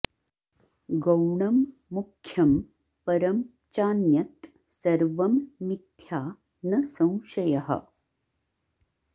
गौणं मुख्यं परं चान्यत् सर्वं मिथ्या न संशयः